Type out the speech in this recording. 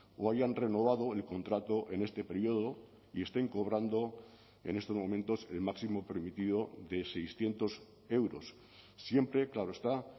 o hayan renovado el contrato en este periodo y estén cobrando en estos momentos el máximo permitido de seiscientos euros siempre claro está